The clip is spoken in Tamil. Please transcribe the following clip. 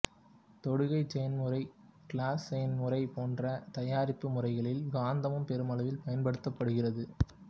தொடுகைச் செயன்முறை கிளாசு செயன்முறை போன்ற தயாரிப்பு முறைகளில் கந்தகம் பெருமளவில் பயன்படுத்தப்படுகிறது